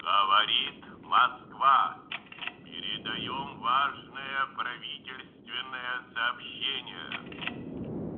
говорит москва передаём важное правительственное сообщение